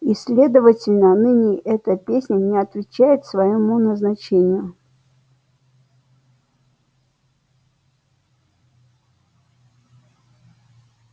и следовательно ныне эта песня не отвечает своему назначению